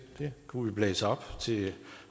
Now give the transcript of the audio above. det kunne vi blæse op til